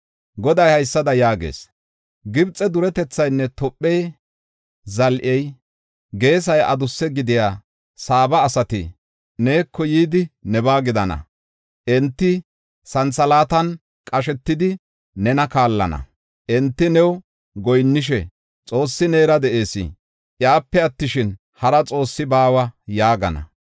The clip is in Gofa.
“Goday haysada yaagees: Gibxe duretethaynne Tophe zal7ey, geesay adussa gidida Saaba asati neeko yidi, nebaa gidana; enti santhalaatan qashetidi, nena kaallana. Enti new goyinnishe, ‘Xoossi neera de7ees; iyape attishin, hara xoossi baawa’ ” yaagana.